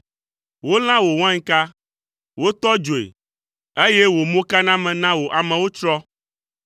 Wolã wò wainka, wotɔ dzoe, eye wò mokaname na wò amewo tsrɔ̃.